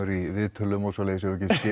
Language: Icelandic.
í viðtölum og svoleiðis við getum